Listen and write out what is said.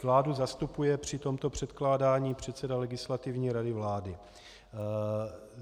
Vládu zastupuje při tomto předkládání předseda Legislativní rady vlády.